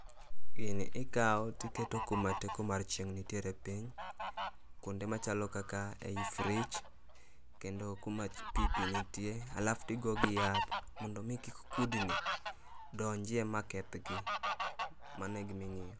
Gini ikao tiketo kuma teko mar chieng' nitiere piny, kuonde machalo kaka ei fridge kendo kuma pi pi nitie alaf tigogi yath mondo mi kik kudni donjie ma kethgi. Mano e gima.